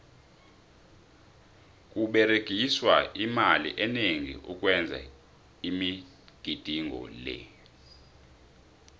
kuberegiswa imali eningi ukwenza imigidingo le